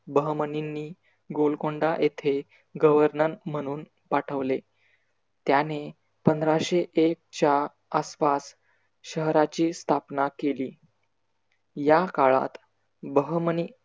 बहमनींनी गोलकोंडा येथे governor म्हणून पाठवले. त्याने पंधराशे एक च्या आसपास शहराची स्थापना केली. या काळात बहमनी